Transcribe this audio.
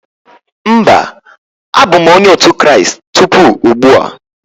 Mba, abụ m Onye otu Kraịst tupu ugbu a.